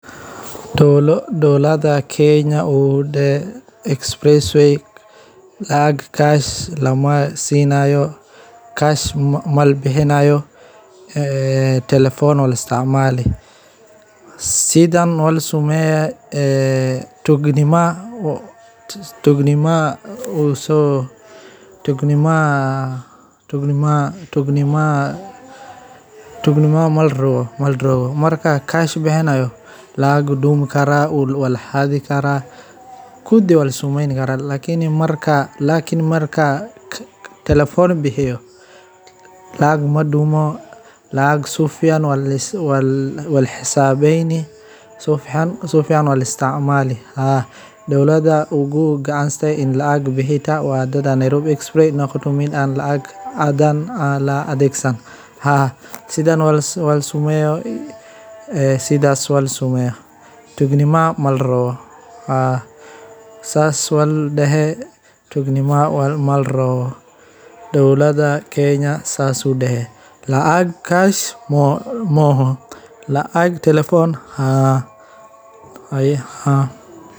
Macaamilo maaliyadeed oo lagu sameeyo adeegyada waxay si weyn ugu fududaatay dad badan sababo la xiriira adeegyada bangiyada moobilka, taasoo keeneysa in qof walba, xitaa meel fog ka jooga xarumaha adeegga, uu si fudud wax ugu bixin karo isagoo gurigiisa jooga. Waxaa sidoo kale muhiim ah in aad ilaaliso sirta akoonkaaga, lambarrada sirta